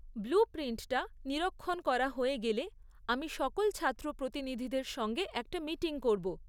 Blue প্রিন্টটা নিরীক্ষণ করা হয়ে গেলে, আমি সকল ছাত্র প্রতিনিধিদের সঙ্গে একটা মিটিং করব।